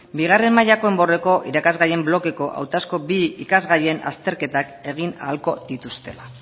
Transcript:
bigarren mailako enborreko irakasgaien blokeko hautazko bi ikasgaien azterketak egin ahalko dituztela